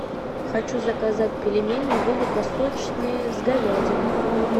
хочу заказать пельмени великосочные с говядиной